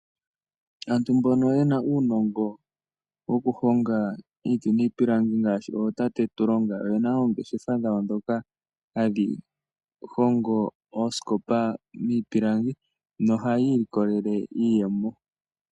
Aantu mbono yena uunongo woku honga iiti niipilangi ngaashi ootate Tulonga oyena oongeshefa dhawo ndhoka hadhi hongo oosikopa miipilangi nohayi likolele iiyemo.